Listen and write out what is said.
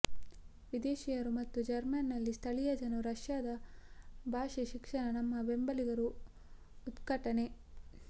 ವಿದೇಶಿಯರು ಮತ್ತು ಜರ್ಮನಿಯಲ್ಲಿ ಸ್ಥಳೀಯ ಜನರು ರಷ್ಯಾದ ಭಾಷೆ ಶಿಕ್ಷಣ ನಮ್ಮ ಬೆಂಬಲಿಗರು ಉದ್ಘಾತನೆ